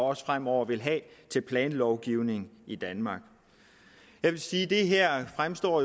også fremover vil have til planlovgivning i danmark jeg vil sige at det her jo fremstår